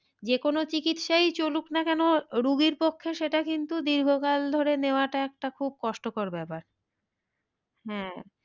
যে কোনো চিকিৎসাই চলুক না কেন রুগীর পক্ষে সেটা কিন্তু দীর্ঘকাল ধরে নেওয়াটা একটা খুব কষ্টকর ব্যাপার হ্যাঁ